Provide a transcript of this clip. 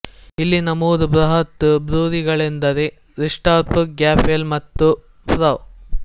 ಇಲ್ಲಿನ ಮೂರು ಬೃಹತ್ ಬ್ರೂಯರಿಗಳೆಂದರೆ ರೀಸ್ಡಾರ್ಫ್ ಗ್ಯಾಫೆಲ್ ಮತ್ತು ಫ್ರಹ್